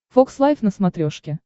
фокс лайв на смотрешке